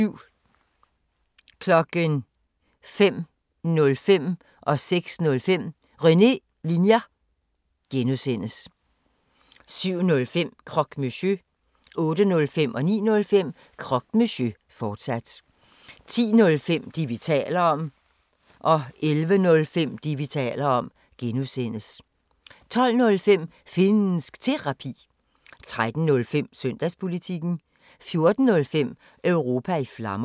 05:05: René Linjer (G) 06:05: René Linjer (G) 07:05: Croque Monsieur 08:05: Croque Monsieur, fortsat 09:05: Croque Monsieur, fortsat 10:05: Det, vi taler om (G) 11:05: Det, vi taler om (G) 12:05: Finnsk Terapi 13:05: Søndagspolitikken 14:05: Europa i Flammer